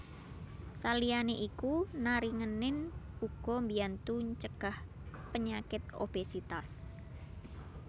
Saliyane iku naringenin uga mbiyantu ncegah penyakit obésitas